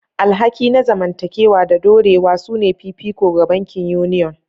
Alhaki na zamantakewa da dorewa sune fifiko ga bankin Union.